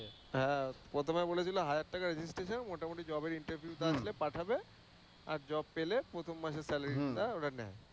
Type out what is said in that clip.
হ্যাঁ, প্রথমে বলেছিল হাজার টাকা registration মোটামুটি job এ interview আসলে পাঠাবে, আর job পেলে প্রথম মাসের salary টা ওরা নেয়।